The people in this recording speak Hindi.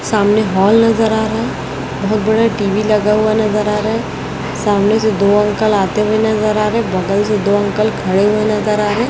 सामने हॉल नजर आ रहा बहोत बड़ा टी_वी लगाया हुआ नजर आ रहा सामने दो अंकल आते हुए नजर आ रहे बगल से दो अंकल खड़े हुए नजर आ रहे--